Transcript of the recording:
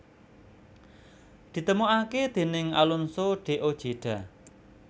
Ditemokake déning Alonso de Ojeda